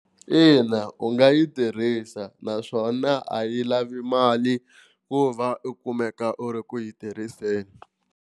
Ina, u nga yi tirhisa naswona a yi lavi mali ku va u kumeka u ri ku yi tirhiseni.